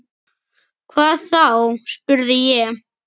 Hvað þá? spurði ég.